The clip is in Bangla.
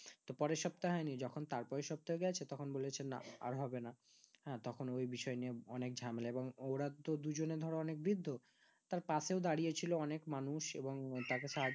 তো পরের সপ্তাহ হয় নি যখন তারপরের সপ্তাহ গেছে তখন বলেছে না আর হবে না হ্যাঁ তখন ওই বিষয় নিয়ে অনেক ঝামেলা বা োর তো দুজনে ধরো অনেক বিদ্ধ তার পাশের দাঁড়িয়েছিল অনেক মানুষ এবং তাকে সাহায্য